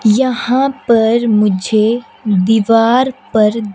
यहां पर मुझे दीवार पर--